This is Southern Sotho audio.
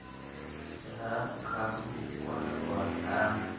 ya ka ho kalwa ha